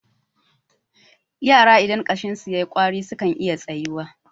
yara idan ƙashinsu ya yi ƙwari sukan iya tsayuwa